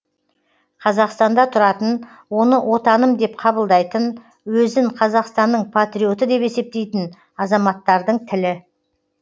қазақстанда тұратын оны отаным деп қабылдайтын өзін қазақстанның патриоты деп есептейтін азаматтардың тілі